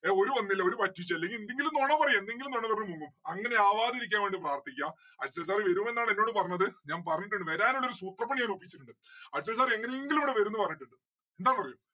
അവര് വന്നില്ല അവരു പറ്റിച്ചു അല്ലെങ്കില് എന്തെങ്കിലും നൊണ പറയാ എന്തെങ്കിലും നൊണ പറഞ് മുങ്ങും അങ്ങനെ ആവാതിരിക്കാൻ വേണ്ടി പ്രാർത്ഥിക്ക അക്ഷയ് sir വരുമെന്നാണ് എന്നോട് പറഞ്ഞത്. ഞാൻ പറഞ്ഞിട്ടുണ്ട്. വരാനുള്ളൊരു സൂത്രപ്പണി ഞാൻ ഒപ്പിച്ചു വച്ചിട്ടുണ്ട്. അക്ഷയ് sir എങ്ങനെങ്കിലും ഇവിടെ വരും ന്ന്‌ പറഞ്ഞിട്ടിണ്ട്‌. എന്താന്ന് അറിയോ